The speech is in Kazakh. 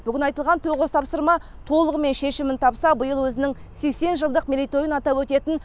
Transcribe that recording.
бүгін айтылған тоғыз тапсырма толығымен шешімін тапса биыл өзінің сексен жылдық мерейтойын атап өтетін